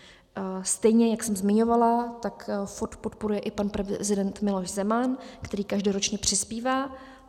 Stejně jak jsem zmiňovala, tak FOD podporuje i pan prezident Miloš Zeman, který každoročně přispívá.